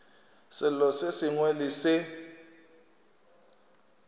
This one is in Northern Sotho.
selo se sengwe le se